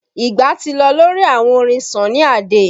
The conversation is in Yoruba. Ìgbà ti lọ lórí àwọn orin Sunny Ade